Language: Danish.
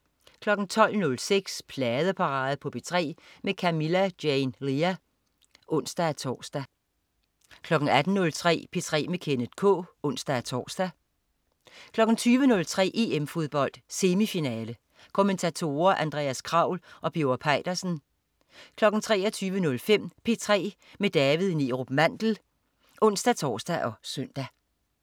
12.06 Pladeparade på P3 med Camilla Jane Lea (ons-tors) 18.03 P3 med Kenneth K (ons-tors) 20.03 EM Fodbold. Semifinale. Kommentatorer: Andreas Kraul og Birger Peitersen 23.05 P3 med David Neerup Mandel (ons-tors og søn)